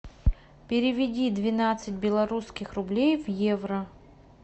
переведи двенадцать белорусских рублей в евро